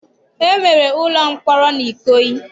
E nwere ụlọmkpọrọ n'Ikoyi.